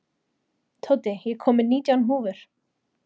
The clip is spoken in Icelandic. Tóti, ég kom með nítján húfur!